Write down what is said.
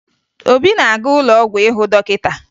Obi na-aga ụlọ ọgwụ ịhụ dọkịta